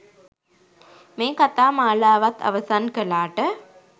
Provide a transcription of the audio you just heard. මේ කථා මාලාවත් අවසන් කළාට.